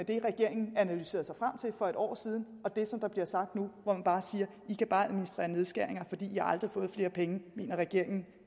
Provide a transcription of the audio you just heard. det regeringen analyserede sig frem til for et år siden og det som der bliver sagt nu hvor man bare siger i kan bare administrere nedskæringer i har aldrig fået flere penge det mener regeringen